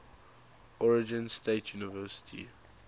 oregon state university